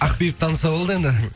ақбибі таныса болды енді